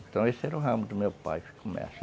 Então, esse era o ramo do meu pai de comércio.